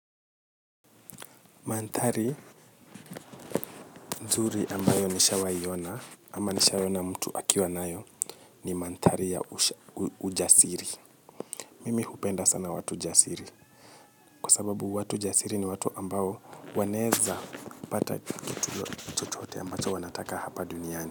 Manthari nzuri ambayo nishawai ona ama nishawai ona mtu akiwa nayo ni manthari ya ujasiri. Mimi hupenda sana watu jasiri. Kwa sababu watu jasiri ni watu ambao wanaeza pata kitu chochote wanachotaka hapa duniani.